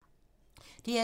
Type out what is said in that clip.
DR2